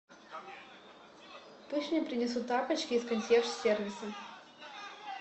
пусть мне принесут тапочки из консьерж сервиса